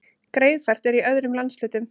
Greiðfært er í öðrum landshlutum